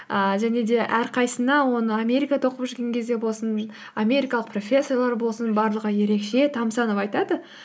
ііі және де әрқайсысына оны америкада оқып жүрген кезде болсын америкалық профессорлар болсын барлығы ерекше тамсанып айтады